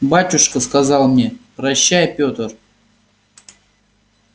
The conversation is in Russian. батюшка сказал мне прощай пётр